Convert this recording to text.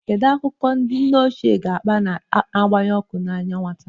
Kedu akụkọ ndị nne ochie ga-akpa, na-agbanye ọkụ n'anya nwata?